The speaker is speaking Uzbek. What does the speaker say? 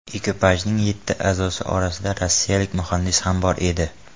Ekipajning yetti a’zosi orasida rossiyalik muhandis ham bor edi.